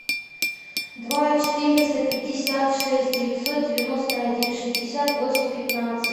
два четыреста пятьдесят шесть девятьсот девяносто один шестьдесят восемь пятнадцать